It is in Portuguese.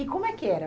E como é que era?